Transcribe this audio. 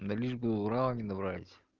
да лишь бы урала не добрались